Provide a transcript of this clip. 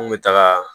An kun bɛ taga